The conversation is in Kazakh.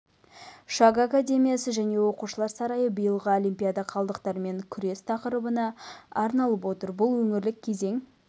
шаг академиясы және оқушылар сарайы биылғы олимпиада қалдықтармен күрес тақырыбына арналып отыр бұл өңірлік кезең